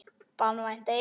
Banvænt eitur.